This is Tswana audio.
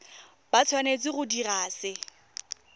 ba tshwanetse go dira se